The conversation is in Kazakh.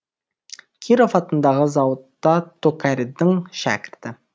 киров атындағы зауытта токарьдің шәкірті